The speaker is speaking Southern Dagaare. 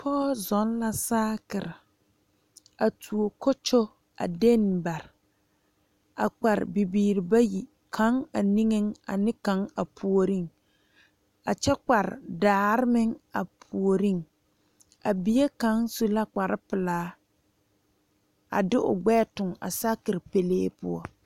Pɔge zɔŋ la saakere a tuo kokyɔɔ a dene bare a kpare bibiiri bayi kaŋ a niŋe ane kaŋ a puori a kyɛ kpare daare meŋ a puori a bie kaŋ su la kpare pelaa a de o gbɛɛ tuŋ a saakere pele poɔ.